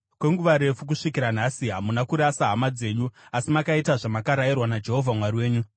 Kwenguva refu, kusvikira nhasi, hamuna kurasa hama dzenyu, asi makaita zvamakarayirwa naJehovha Mwari wenyu.